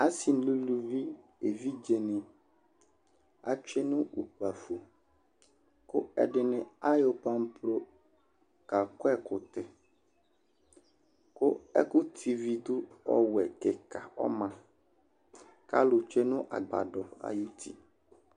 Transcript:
asi nu uluvi evidze atsʋe nu ukpafo ku ɛdini ayɔ panplo kakɔ ɛkutɛ, ku ɛku tividu ɔwɛ kika ɔma, alu tsue nu agbadɔ ayuti